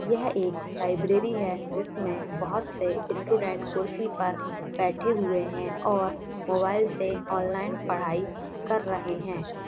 यह एक लाइब्रेरी है जिसमे बहोत से स्टूडेंट्स कुर्सी पर बैठ हुए हैं और मोबाइल से ऑनलाइन पढाई कर रहे हैं।